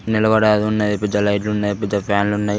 నిలబడే అది ఉన్నది పెద్ద లైట్ లున్నయ్ పెద్ద ఫ్యాన్ లున్నయ్.